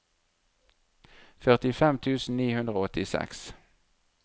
førtifem tusen ni hundre og åttiseks